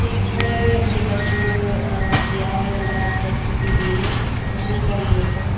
उसमें ये बच्चों ने किया है रंगारंग प्रस्तुति दी है वहीं का ये है।